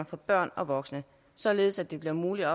for børn og voksne således at det bliver muligt at